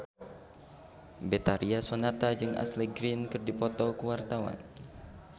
Betharia Sonata jeung Ashley Greene keur dipoto ku wartawan